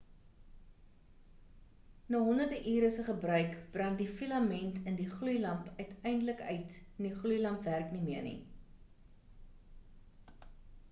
na honderde ure se gebruik brand die filament in die gloeilamp uiteindelik uit en die gloeilamp werk nie meer nie